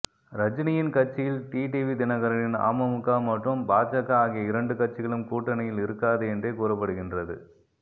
ரஜினியின் கட்சியில் டிடிவி தினகரனின் அமமுக மற்றும் பாஜக ஆகிய இரண்டு கட்சிகளும் கூட்டணியில் இருக்காது என்றே கூறப்படுகின்றது